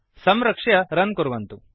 संरक्ष्य रन् कुर्वन्तु